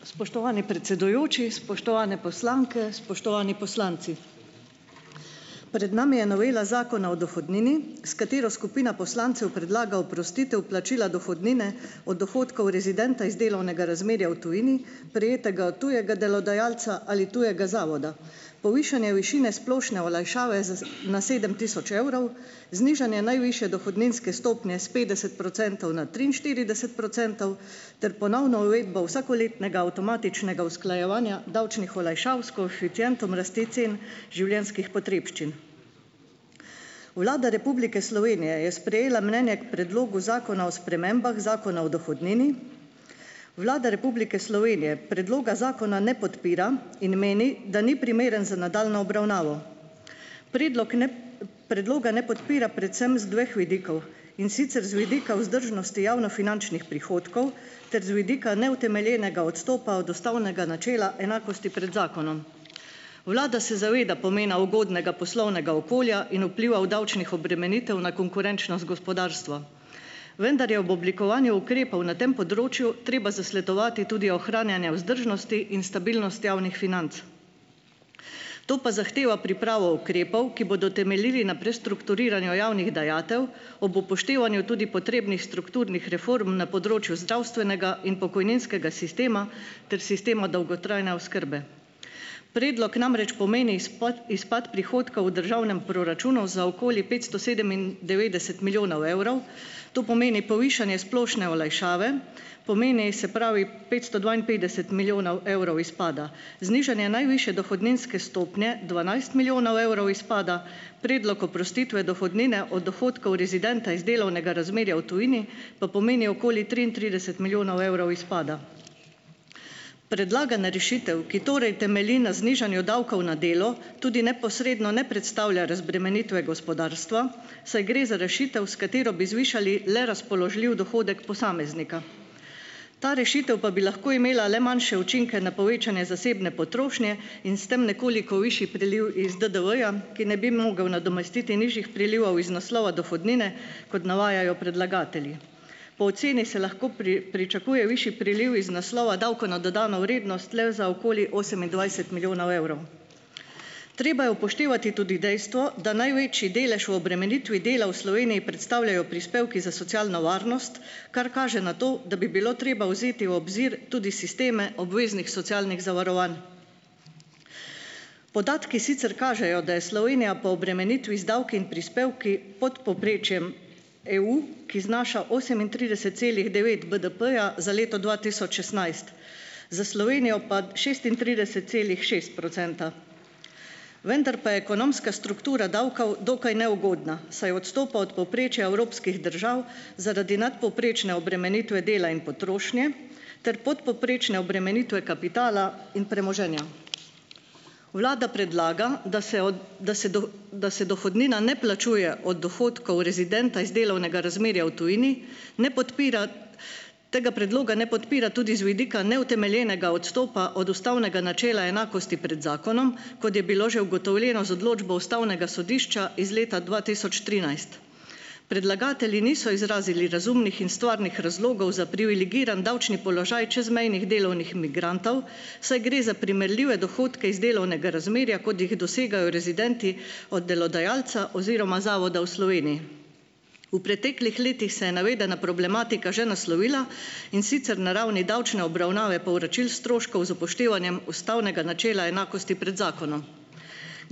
Spoštovani predsedujoči, spoštovane poslanke, spoštovani poslanci! Pred nami je novela Zakona o dohodnini, s katero skupina poslancev predlaga oprostitev plačila dohodnine od dohodkov rezidenta iz delovnega razmerja v tujini, prejetega od tujega delodajalca ali tujega zavoda. Povišanje višine splošne olajšave za z na sedem tisoč evrov, znižanje najvišje dohodninske stopnje s petdeset procentov na triinštirideset procentov ter ponovna uvedba vsakoletnega avtomatičnega usklajevanja davčnih olajšav s koeficientom rasti cen življenjskih potrebščin. Vlada Republike Slovenije je sprejela mnenje k Predlogu zakona o spremembah Zakona o dohodnini. Vlada Republike Slovenije predloga zakona ne podpira in meni, da ni primeren za nadaljnjo obravnavo. Predlog ne, predloga ne podpira predvsem iz dveh vidikov, in sicer z vidika vzdržnosti javnofinančnih prihodkov ter z vidika neutemeljenega odstopa od ustavnega načela enakosti pred zakonom. Vlada se zaveda pomena ugodnega poslovnega okolja in vplivov davčnih obremenitev na konkurenčnost gospodarstva, vendar je ob oblikovanju ukrepov na tem področju treba zasledovati tudi ohranjanje vzdržnosti in stabilnosti javnih financ. To pa zahteva pripravo ukrepov, ki bodo temeljili na prestrukturiranju javnih dajatev ob upoštevanju tudi potrebnih strukturnih reform na področju zdravstvenega in pokojninskega sistema ter sistema dolgotrajne oskrbe. Predlog namreč pomeni ispot, izpad prihodka v državnem proračunu za okoli petsto sedemindevetdeset milijonov evrov, to pomeni povišanje splošne olajšave, pomeni, se pravi, petsto dvainpetdeset milijonov evrov izpada. Znižanje najvišje dohodninske stopnje dvanajst milijonov evrov izpada. Predlog oprostitve dohodnine od dohodkov rezidenta iz delovnega razmerja v tujini pa pomeni okoli triintrideset milijonov evrov izpada. Predlagana rešitev, ki torej temelji na znižanju davkov na delo, tudi neposredno ne predstavlja razbremenitve gospodarstva, saj gre za rešitev, s katero bi zvišali le razpoložljiv dohodek posameznika. Ta rešitev pa bi lahko imela le manjše učinke na povečanje zasebne potrošnje in s tem nekoliko višji priliv iz DDV-ja, ki ne bi mogel nadomestiti nižjih prilivov iz naslova dohodnine, kot navajajo predlagatelji. Po oceni se lahko pričakuje višji priliv iz naslova davka na dodano vrednost le za okoli osemindvajset milijonov evrov. Treba je upoštevati tudi dejstvo, da največji delež v obremenitvi dela v Sloveniji predstavljajo prispevki za socialno varnost, kar kaže na to, da bi bilo treba vzeti v obzir tudi sisteme obveznih socialnih zavarovanj. Podatki sicer kažejo, da je Slovenija po obremenitvi z davki in prispevki pod povprečjem EU, ki znaša osemintrideset celih devet BDP-ja za leto dva tisoč šestnajst, za Slovenijo pa šestintrideset celih šest procenta, vendar pa je ekonomska struktura davkov dokaj neugodna, saj odstopa od povprečja evropskih držav, zaradi nadpovprečne obremenitve dela in potrošnje ter podpovprečne obremenitve kapitala in premoženja. Vlada predlaga, da se od da se da se dohodnina ne plačuje od dohodkov rezidenta iz delovnega razmerja v tujini. Ne podpira. Tega predloga ne podpira tudi z vidika neutemeljenega odstopa od ustavnega načela enakosti pred zakonom, kot je bilo že ugotovljeno z odločbo ustavnega sodišča iz leta dva tisoč trinajst. Predlagatelji niso izrazili razumnih in stvarnih razlogov za privilegiran davčni položaj čezmejnih delovnih migrantov, saj gre za primerljive dohodke iz delovnega razmerja kot jih dosegajo rezidenti od delodajalca oziroma zavoda v Sloveniji. V preteklih letih se je navedena problematika že naslovila, in sicer na ravni davčne obravnave povračil stroškov z upoštevanjem ustavnega načela enakosti pred zakonom.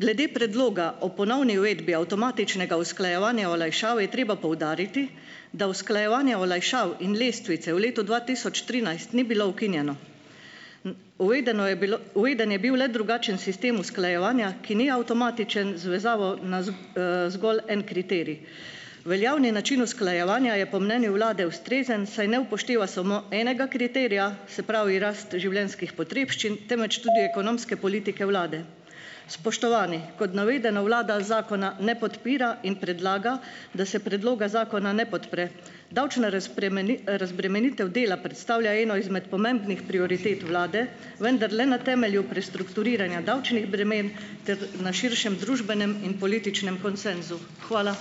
Glede predloga o ponovni uvedbi avtomatičnega usklajevanja olajšav je treba poudariti, da usklajevanje olajšav in lestvice v letu dva tisoč trinajst ni bilo ukinjeno. Uvedeno je bilo, uveden je bil le drugačen sistem usklajevanja, ki ni avtomatičen z vezavo na z, zgolj en kriterij. Veljavni način usklajevanja je po mnenju vlade ustrezen, saj ne upošteva samo enega kriterija, se pravi rast življenjskih potrebščin, temveč tudi ekonomske politike vlade. Spoštovani, kot navedeno, vlada zakona ne podpira in predlaga, da se predloga zakona ne podpre. Davčna razbremenitev dela predstavlja eno izmed pomembnih prioritet vlade, vendar le na temelju prestrukturiranja davčnih bremen ter na širšem družbenem in političnem konsenzu. Hvala.